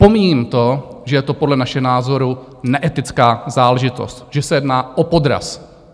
Pomíjím to, že je to podle našeho názoru neetická záležitost, že se jedná o podraz.